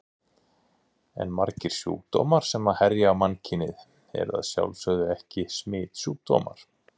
En margir sjúkdómar sem herja á mannkynið eru að sjálfsögðu ekki smitsjúkdómar.